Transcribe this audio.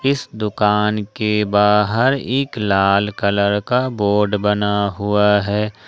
इस दुकान के बाहर एक लाल कलर का बोर्ड बना हुआ है।